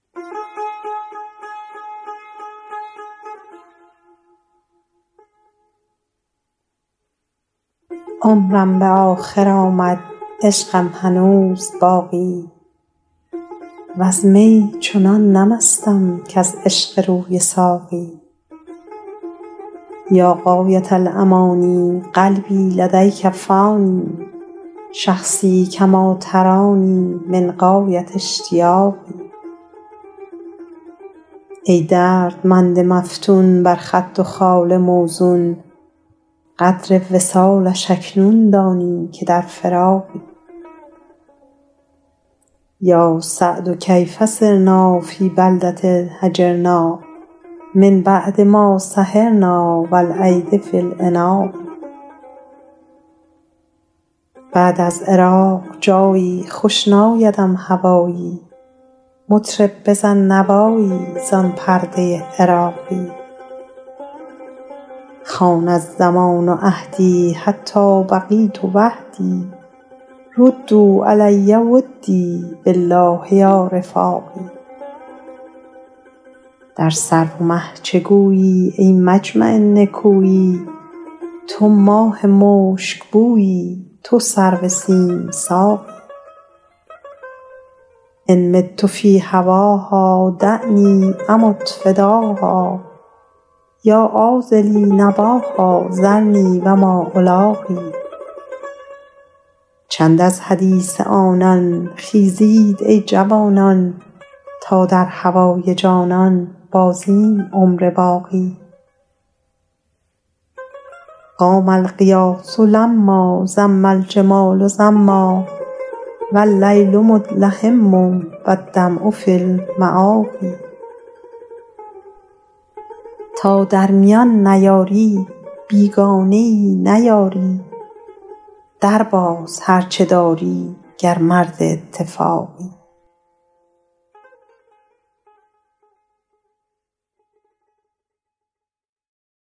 عمرم به آخر آمد عشقم هنوز باقی وز می چنان نه مستم کز عشق روی ساقی یا غایة الأمانی قلبی لدیک فانی شخصی کما ترانی من غایة اشتیاقی ای دردمند مفتون بر خد و خال موزون قدر وصالش اکنون دانی که در فراقی یا سعد کیف صرنا فی بلدة هجرنا من بعد ما سهرنا و الایدی فی العناق بعد از عراق جایی خوش نایدم هوایی مطرب بزن نوایی زان پرده عراقی خان الزمان عهدی حتی بقیت وحدی ردوا علی ودی بالله یا رفاقی در سرو و مه چه گویی ای مجمع نکویی تو ماه مشکبویی تو سرو سیم ساقی ان مت فی هواها دعنی امت فداها یا عاذلی نباها ذرنی و ما الاقی چند از حدیث آنان خیزید ای جوانان تا در هوای جانان بازیم عمر باقی قام الغیاث لما زم الجمال زما و اللیل مدلهما و الدمع فی المآقی تا در میان نیاری بیگانه ای نه یاری درباز هر چه داری گر مرد اتفاقی